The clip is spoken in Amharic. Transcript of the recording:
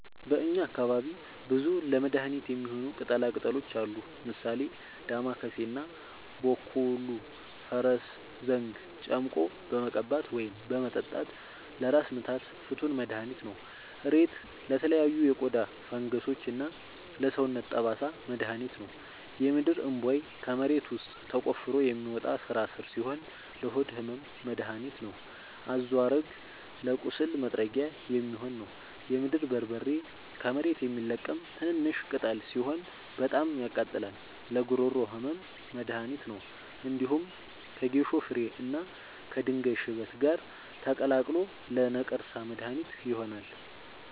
በእኛ አካባቢ ብዙ ለመድሀነት የሚሆኑ ቅጠላ ቅጠሎች አሉ። ምሳሌ፦ ዳማከሴ እና ቦኮሉ(ፈረስዘንግ) ጨምቆ በመቀባት ወይም በመጠጣት ለራስ ምታት ፍቱን መድሀኒት ነው። እሬት ለተለያዩ የቆዳ ፈንገሶች እና ለሰውነት ጠባሳ መድሀኒት ነው። የምድርእንቧይ ከመሬት ውስጥ ተቆፍሮ የሚወጣ ስራስር ሲሆን ለሆድ ህመም መደሀኒት ነው። አዞሀረግ ለቁስል ማጥጊያ የሚሆን ነው። የምድር በርበሬ ከመሬት የሚለቀም ትንሽሽ ቅጠል ሲሆን በጣም ያቃጥላል ለጉሮሮ ህመም መድሀኒት ነው። እንዲሁም ከጌሾ ፍሬ እና ከድንጋይ ሽበት ጋር ተቀላቅሎ ለነቀርሳ መድሀኒት ይሆናል።